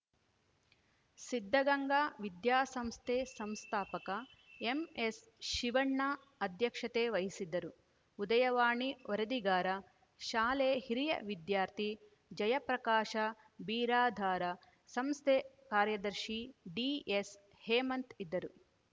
ಸಿದ್ಧಗಂಗಾ ವಿದ್ಯಾಸಂಸ್ಥೆ ಸಂಸ್ಥಾಪಕ ಎಂಎಸ್‌ಶಿವಣ್ಣ ಅಧ್ಯಕ್ಷತೆ ವಹಿಸಿದ್ದರು ಉದಯವಾಣಿ ವರದಿಗಾರ ಶಾಲೆ ಹಿರಿಯ ವಿದ್ಯಾರ್ಥಿ ಜಯಪ್ರಕಾಶ ಬಿರಾದಾರ ಸಂಸ್ಥೆ ಕಾರ್ಯದರ್ಶಿ ಡಿಎಸ್‌ಹೇಮಂತ್‌ ಇದ್ದರು